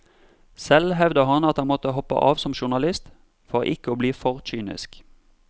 Selv hevder han at han måtte hoppe av som journalist for ikke å bli for kynisk.